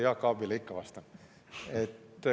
Jaak Aabile ikka vastan.